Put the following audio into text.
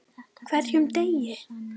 HVERJUM DEGI!